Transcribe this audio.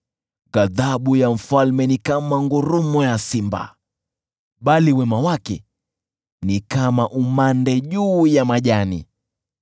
Ghadhabu ya mfalme ni kama mngurumo wa simba, bali wema wake ni kama umande juu ya nyasi.